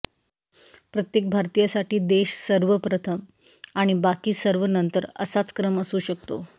प्रत्येक भारतीयासाठी देश सर्वप्रथम आणि बाकी सर्व नंतर असाच क्रम असू शकतो